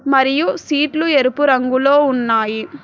మరియు సీట్లు ఎరుపు రంగులో ఉన్నాయి.